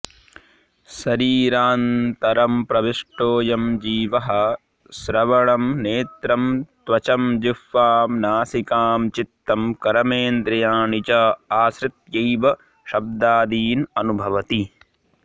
शरीरान्तरं प्रविष्टोऽयं जीवः श्रवणं नेत्रं त्वचं जिह्वां नासिकां चित्तं कर्मेन्द्रियाणि च आश्रित्यैव शब्दादीन् अनुभवति